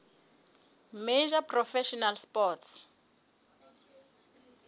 major professional sports